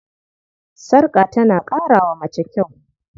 Sarƙa tana ƙara wa mace kyau.